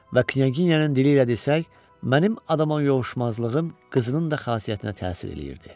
Və Knyaginyanın dili ilə desək, mənim adama yovuşmazlığım qızının da xasiyyətinə təsir eləyirdi.